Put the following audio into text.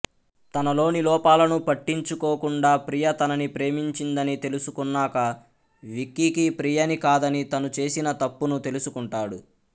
తనలోని లోపాలను పట్టించుకోకుండా ప్రియ తనని ప్రేమించిందని తెలుసుకున్నాక విక్కీకి ప్రియని కాదని తను చేసిన తప్పును తెలుసుకుంటాడు